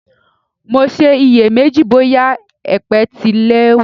Mo ṣe iyè méjì bóyà èpè tilẹ̀ wà.